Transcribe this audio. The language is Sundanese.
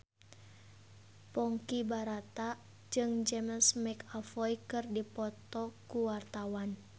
Ponky Brata jeung James McAvoy keur dipoto ku wartawan